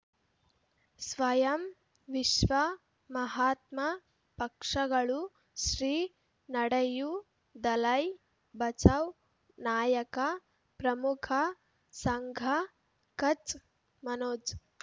ಸ್ವಯಂ ವಿಶ್ವ ಮಹಾತ್ಮ ಪಕ್ಷಗಳು ಶ್ರೀ ನಡೆಯೂ ದಲೈ ಬಚೌ ನಾಯಕ ಪ್ರಮುಖ ಸಂಘ ಕಚ್ ಮನೋಜ್